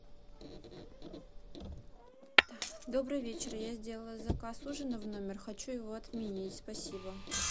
добрый вечер я сделала заказ ужина в номер хочу его отменить спасибо